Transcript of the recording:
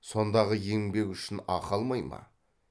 сондағы еңбек үшін ақы алмай ма